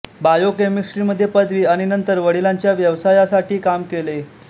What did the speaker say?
बायोकेमिस्ट्रीमध्ये पदवी आणि नंतर वडिलांच्या व्यवसायासाठी काम केले